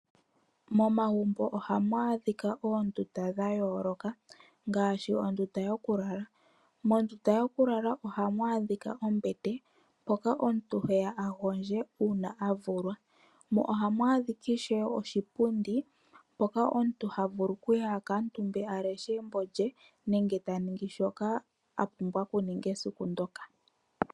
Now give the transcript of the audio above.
Momagumbo ohamu adhika oondunda dhayooloka, ngaashi ondunda yokulala. Mondunda yokulala ohamu adhika ombete ndjoka omuntu heya agondje uuna avulwa, mo ohamu adhika ishewe oshipundi hoka omuntu havulu okuya akale omutumba aleshe embo lye, nenge taningi shoka apumbwa okuninga esiku ndyoka.